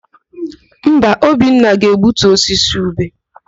Mba, Obinna ga-egbutu osisi ube.